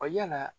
yala